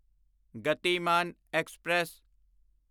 Gatimaan express